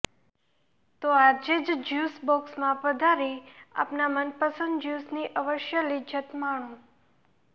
તો આજે જ જ્યુસ બોક્ષમાં પધારી આપના મનપસંદ જ્યુસની અવશ્ય લિજ્જત માણો